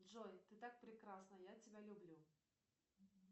джой ты так прекрасна я тебя люблю